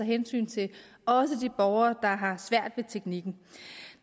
hensyn til også de borgere der har svært ved teknikken